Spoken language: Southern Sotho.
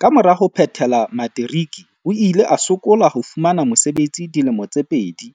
Kamora ho phethela materiki o ile a sokola ho fumana mosebetsi dilemo tse pedi.